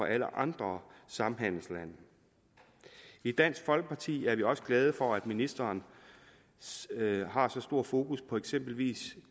alle andre samhandelslande i dansk folkeparti er vi også glade for at ministeren har så stor fokus på eksempelvis